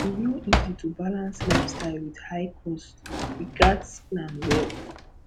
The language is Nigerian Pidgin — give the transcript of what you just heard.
e no easy to balance lifestyle with high cost we gats plan well